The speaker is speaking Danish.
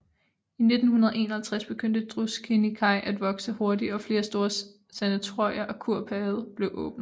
I 1951 begyndte Druskininkai at vokse hurtigt og flere store sanatorier og kurbade blev åbnet